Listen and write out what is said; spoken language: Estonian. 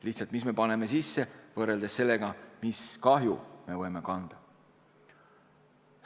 Lihtsalt, mis me paneme sisse, võrreldes sellega, mis kahju me võime kanda?